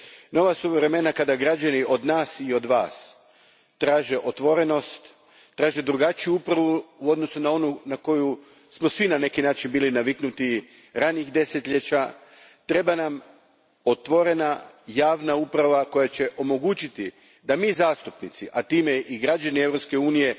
Nova su vremena kada građani od nas i od Vas traže otvorenost, traže drugačiju upravu u odnosu na onu na koju smo svi na neki način bili naviknuti ranijih desetljeća. Treba nam otvorena javna uprava koja će omogućiti da mi zastupnici, a time i građani Europske unije